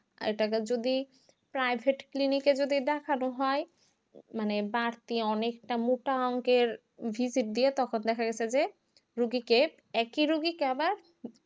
এটা আবার যদি private clinic এ যদি দেখানো হয় মানে বাড়তি অনেকটা মোটা অঙ্কের visit দিয়ে তখন দেখা গাছে যে রুগীকে একই রুগীকে আবার